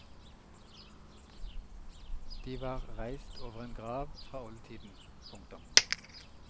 De var reist over en grav fra oldtiden. punktum